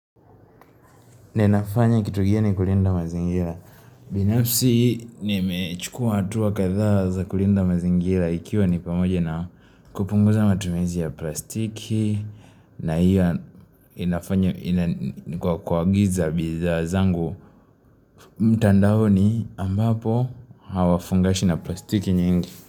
Nenafanya kitugia ni kulinda mazingira. Binapsi ni mechukua atuwa katha za kulinda mazingira ikiwa ni pamoja na kupunguza matumezi ya plastiki na hiyo inafanya kwa kuagiza biza zangu. Mtandao ni ambapo hawafungashi na plastiki nyingi.